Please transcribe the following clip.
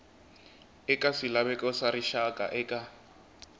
eka swilaveko swa rixaka eka